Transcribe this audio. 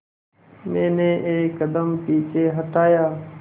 मैंने एक कदम पीछे हटाया